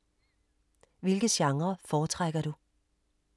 Hvilke genrer foretrækker du?